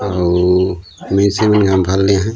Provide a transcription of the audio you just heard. अऊ मेसी मन घमबलया है।